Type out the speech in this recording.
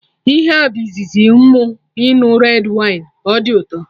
Ihe a bụ izizi mụ ịṅụ red wine, ọ dị ụtọ